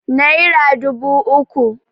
naira dubu uku